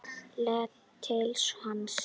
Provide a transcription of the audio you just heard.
Leit svo til hans.